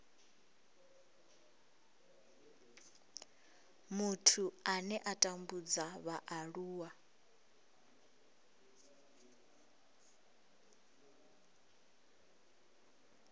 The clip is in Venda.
muthu ane a tambudza vhaaluwa